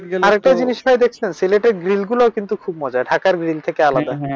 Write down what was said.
আর একটা জিনিস ভাই দেখছেন সিলেটের গ্রিলগুলি কিন্তু অনেক মজা ঢাকার গ্রিল থেকেও আলাদা।